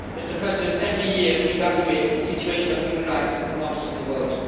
Mr President, every year we evaluate the situation of human rights and democracy in the world.